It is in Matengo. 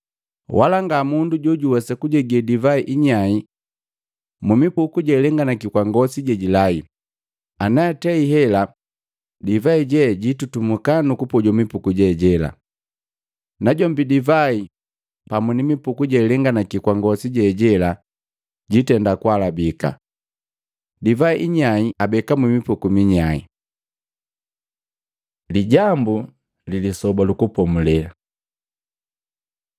Wala nga mundu jojuwesa kujegee divai inyai mumipuku jelenganaki kwa ngosi jejilai, anaatei hela, divai je jitutumuka nukupojo mipuku je jela. Najombi divai pamu ni mipuku jealenganaki kwa ngosi jejela jitenda kuhalabika. Divai inyai abeka mmipuku minyai.” Lijambu li Lisoba lu Kupomulela Matei 12:1-8; Luka 6:1-5